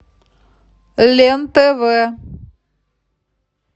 лен тв